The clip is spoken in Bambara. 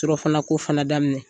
Surɔfanako fana daminɛ.